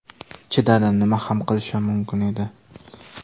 Chidadim, nima ham qilishim mumkin edi?